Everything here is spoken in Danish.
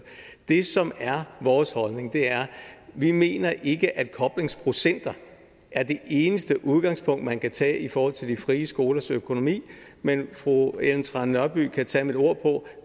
det som er vores holdning er vi mener ikke at koblingsprocenter er det eneste udgangspunkt man kan tage i forhold til de frie skolers økonomi men fru ellen trane nørby kan tage mit ord på